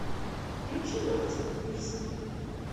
включи мартина пирсона